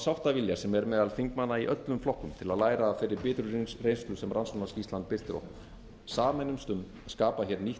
sáttavilja sem er meðal þingmanna í öllum flokkum til að læra af þeirri bitru reynslu sem rannsóknarskýrslan birtir okkur sameinumst um að skapa hér nýtt